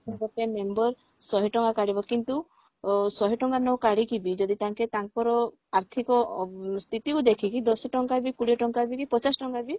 ତ ଗୋଟେ member ଶହେ ଟଙ୍କା କାଢିବ କିନ୍ତୁ ଅ ଶହେ ଟଙ୍କା ନ କାଢିକି ବି ଯଦି ତାଙ୍କେ ତାଙ୍କର ଆର୍ଥିକ ଅ ସ୍ଥିତିକୁ ଦେଖିକି ଦଶ ଟଙ୍କାବି କୋଡିଏ ଟଙ୍କାବି ପଚାଶ ଟଙ୍କାବି